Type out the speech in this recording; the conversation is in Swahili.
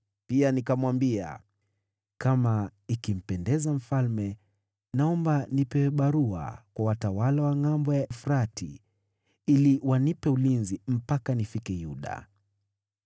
Pia nikamwambia, “Kama ikimpendeza mfalme, naomba nipewe barua kwa watawala wa Ngʼambo ya Frati, ili wanipe ulinzi mpaka nifike Yuda.